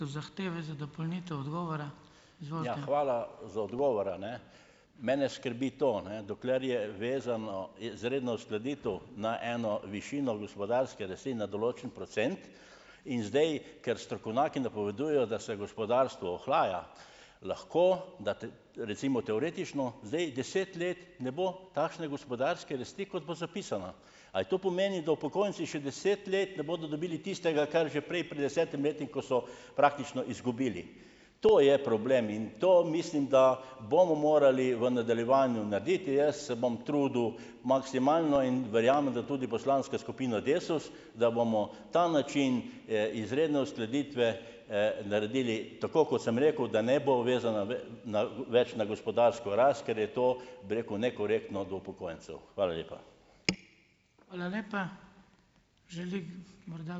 za odgovor, a ne. Mene skrbi to, ne, dokler je vezano, izredno uskladitev na eno višino gospodarske rasti na določen procent in zdaj, ker strokovnjaki napovedujejo, da se gospodarstvo ohlaja, lahko da recimo teoretično zdaj deset let ne bo takšne gospodarske rasti, kot bo zapisana. Ali to pomeni, da upokojenci še deset let ne bodo dobili tistega, kar že prej pred desetimi leti, ko so praktično izgubili. To je problem in to mislim, da bomo morali v nadaljevanju narediti. Jaz se bom trudil maksimalno in verjamem, da tudi poslanska skupina DeSUS, da bomo ta način, izredne uskladitve, naredili tako, kot sem rekel, da ne bo vezana na, več na gospodarsko rast, ker je to, bi rekel, nekorektno do upokojencev. Hvala lepa.